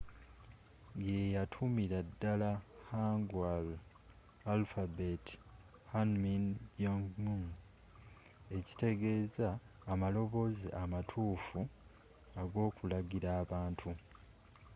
yeyatuumira dala hangeul alphabet hunmin jeongeum ekitegeeza amaloboozi amatuufu ag’okulagira abantu